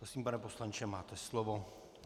Prosím, pane poslanče, máte slovo.